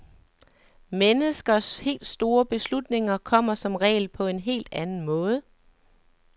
Menneskers helt store beslutninger kommer som regel på en helt anden måde.